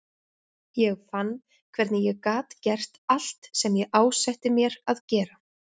Ég fann hvernig ég gat gert allt sem ég ásetti mér að gera.